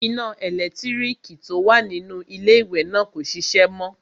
Iná ẹlẹ́lẹ̀tíríkì tó wà nínú iléwẹ̀ náà kò ṣiṣẹ́ mọ.